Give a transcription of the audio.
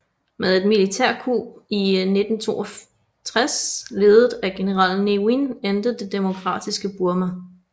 Med et militærkup i 1962 ledet af general Ne Win endte det demokratiske Burma